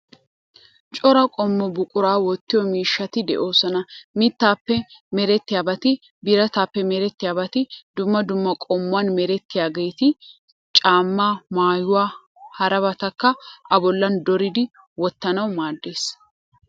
Cora qommo buquraa wottiyo miishshati de'oosona. Mittaappe merettiyaabati birataappe merettiyaabati dumma dumma qommuwan merettiyaageeti caammaa, maayuwa, harabatakka A bollan dooridi wottanawu maaddees.